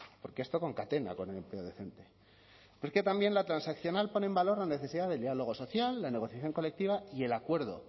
porque esto concatena con el empleo decente porque también la transaccional pone en valor la necesidad del diálogo social la negociación colectiva y el acuerdo